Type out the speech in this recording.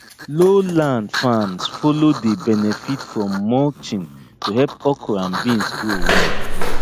low land farms follow dey benefit from mulching to help okra and beans grow well